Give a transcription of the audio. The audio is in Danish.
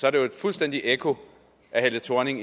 er jo fuldstændig et ekko af helle thorning